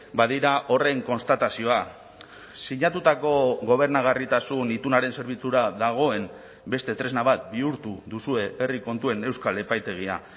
badira horren konstatazioa sinatutako gobernagarritasun itunaren zerbitzura dagoen beste tresna bat bihurtu duzue herri kontuen euskal epaitegia